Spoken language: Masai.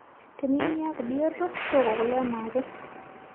Tiniyieu niaku bioto tooko kule enaake.